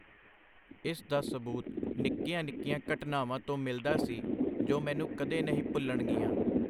ਇਸ ਦਾ ਸਬੂਤ ਨਿੱਕੀਆਂ-ਨਿਕੀਆਂ ਘਟਨਾਵਾਂ ਤੋਂ ਮਿਲਦਾ ਸੀ, ਜੋ ਮੈਨੂੰ ਕਦੇ ਨਹੀਂ ਭੁਲਣਗੀਆਂ.